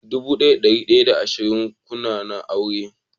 dubu daya da dari daya da ashirin da kuna na auren.